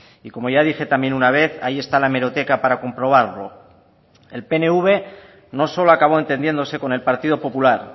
y como ya dije también una vez ahí está la hemeroteca para comprobarlo el pnv no solo acabó entendiéndose con el partido popular